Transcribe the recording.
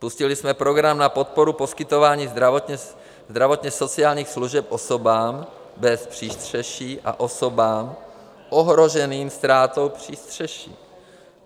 Spustili jsme program na podporu poskytování zdravotně-sociálních služeb osobám bez přístřeší a osobám ohroženým ztrátou přístřeší.